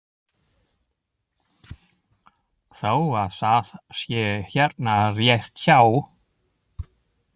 Þó að það sé hérna rétt hjá!